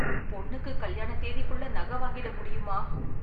பொண்ணுக்கு கல்யாண தேதிக்குள்ள நகை வாங்கிட முடியுமா?